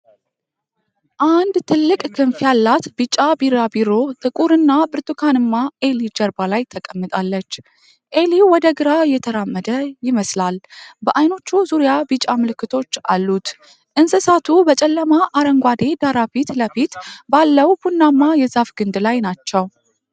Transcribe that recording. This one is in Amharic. አንድ ትልቅ ክንፍ ያላት ቢጫ ቢራቢሮ ጥቁር እና ብርቱካንማ ዔሊ ጀርባ ላይ ተቀምጣለች። ዔሊው ወደ ግራ እየተራመደ ይመስላል፤ በዐይኖቹ ዙሪያ ቢጫ ምልክቶች አሉት። እንስሳቱ በጨለማ አረንጓዴ ዳራ ፊት ለፊት ባለው ቡናማ የዛፍ ግንድ ላይ ናቸው።